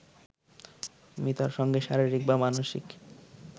মিতার সঙ্গে শারীরিক বা মানসিক